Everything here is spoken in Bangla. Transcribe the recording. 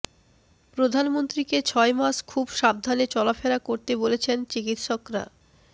প্রধানমন্ত্রীকে ছয় মাস খুব সাবধানে চলাফেরা করতে বলেছেন চিকিৎসকরা